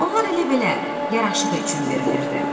Onlar elə belə yaraşığı üçün verilirdi.